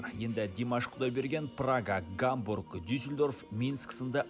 енді димаш құдайберген прага гамбург дюсельдорф минск сынды